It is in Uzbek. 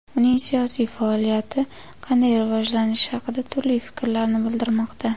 uning siyosiy faoliyati qanday rivojlanishi haqida turli fikrlarni bildirmoqda.